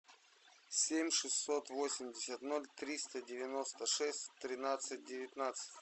семь шестьсот восемьдесят ноль триста девяносто шесть тринадцать девятнадцать